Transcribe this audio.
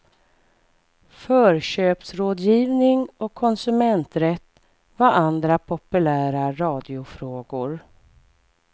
Förköpsrådgivning och konsumenträtt var andra populära radiofrågor.